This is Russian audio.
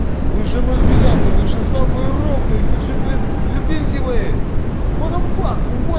вы же ноль девятый вы же самый ровный вы же блин любимки мои во те фак во